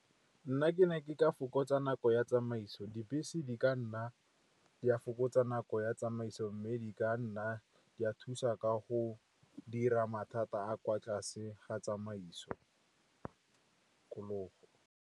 Nna ke ne ke ka fokotsa nako ya tsamaiso, dibese di ka nna di a fokotsa nako ya tsamaiso. Mme di ka nna di a thusa ka go dira mathata a kwa tlase ga tsamaiso .